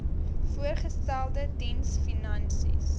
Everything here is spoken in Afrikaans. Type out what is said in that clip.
voorgestelde diens finansies